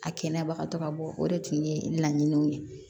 A kɛnɛyabagatɔ ka bɔ o de tun ye laɲiniw ye